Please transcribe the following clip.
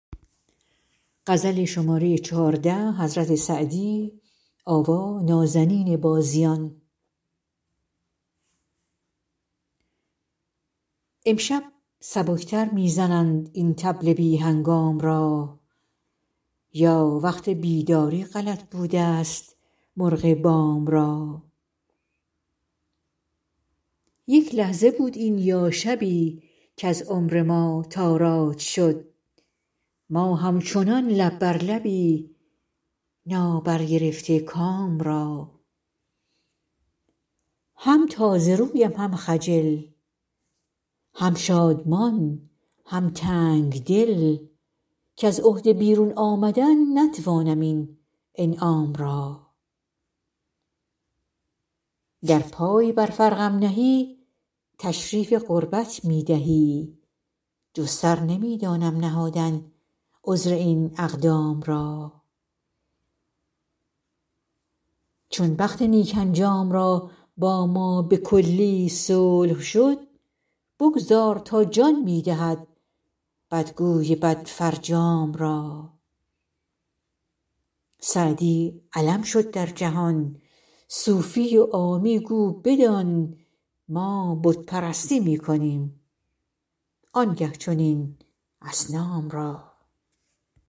امشب سبک تر می زنند این طبل بی هنگام را یا وقت بیداری غلط بودست مرغ بام را یک لحظه بود این یا شبی کز عمر ما تاراج شد ما همچنان لب بر لبی نابرگرفته کام را هم تازه رویم هم خجل هم شادمان هم تنگ دل کز عهده بیرون آمدن نتوانم این انعام را گر پای بر فرقم نهی تشریف قربت می دهی جز سر نمی دانم نهادن عذر این اقدام را چون بخت نیک انجام را با ما به کلی صلح شد بگذار تا جان می دهد بدگوی بدفرجام را سعدی علم شد در جهان صوفی و عامی گو بدان ما بت پرستی می کنیم آن گه چنین اصنام را